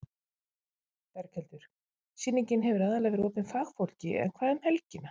Berghildur: Sýningin hefur aðallega verið opin fagfólki en hvað um helgina?